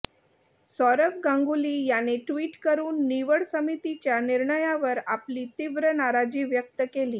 सौरव गांगुली याने ट्विट करून निवड समितीच्या निर्णयावर आपली तीव्र नाराजी व्यक्त केली